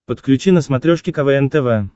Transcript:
подключи на смотрешке квн тв